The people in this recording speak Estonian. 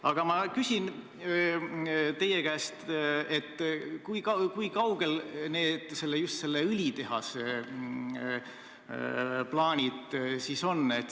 Aga ma küsin teie käest, kui kaugel selle õlitehase plaanid on.